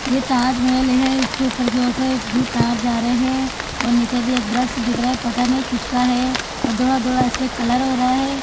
ये ताज महल है इसके उपर की और से भी तार जा रहे है और नीचे भी एक ब्रश दिख रहा है पता नही किसका है और धोला धोला इसपे कलर हो रहा है।